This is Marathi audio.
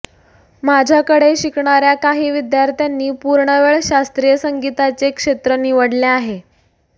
माझ्याकडे शिकणाऱ्या काही विद्यार्थ्यांनी पूर्णवेळ शास्त्रीय संगीताचे क्षेत्र निवडले आहे